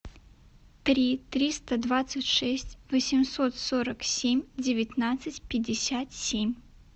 три триста двадцать шесть восемьсот сорок семь девятнадцать пятьдесят семь